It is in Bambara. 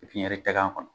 pipiɲɛri tɛ k'a kɔnɔ